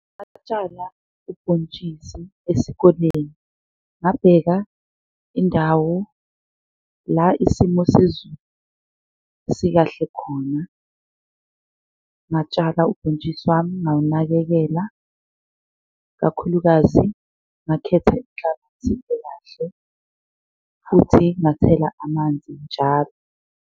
Ubhontshisi esikoleni ngabheka indawo la isimo sezulu sikahle khona, ngatshala ubhontshisi wami ngawunakekela kakhulukazi ngakhetha inhlabathi ekahle futhi ngathela amanzi njalo.